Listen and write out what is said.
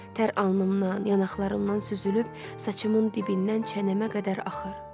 Tər alnımdan, yanaqlarımdan süzülüb, saçımın dibindən çənəmə qədər axır.